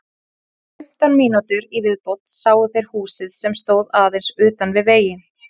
Eftir fimmtán mínútur í viðbót sáu þeir húsið sem stóð aðeins utan við veginn.